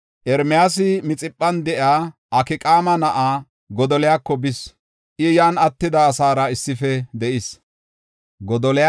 Ermiyaasi Mixiphan de7iya Akqaama na7aa Godoliyako bis. I yan attida asaara issife de7is.